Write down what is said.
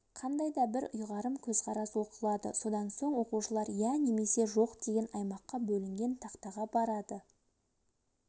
қандай да бір ұйғарым көзқарас оқылады содан соң оқушылар ия немесе жоқ деген аймаққа бөлінген тақтаға барады